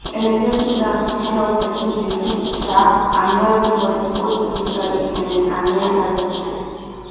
energetic dance fit help person dey fit um and healthy both physically um and mentally